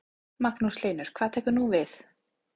Magnús Hlynur: Hvað tekur núna við?